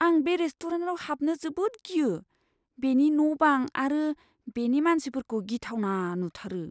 आं बे रेस्टुरेन्टाव हाबनो जोबोद गियो। बेनि न' बां आरो बेनि मानसिफोरखौ गिथावना नुथारो।